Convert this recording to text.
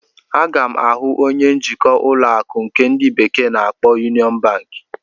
Aga m ahụ onye njikwa ụlọ akụ nke ndi bekee na-akpo Yunion Banki echi.